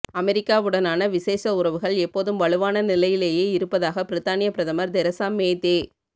அமெரிக்காவுடனான விசேட உறவுகள் எப்போதும் வலுவான நிலையிலேயே இருப்பதாக பிரித்தானிய பிரதமர் தெரேசா மே தெ